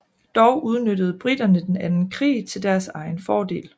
Dog udnyttede briterne den anden krig til deres egen fordel